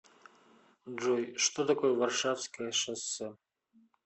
джой что такое варшавское шоссе